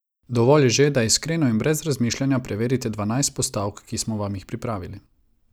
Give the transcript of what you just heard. Dovolj je že, da iskreno in brez razmišljanja preverite dvanajst postavk, ki smo vam jih pripravili.